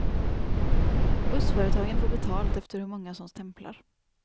Bussföretagen får betalt efter hur många som stämplar.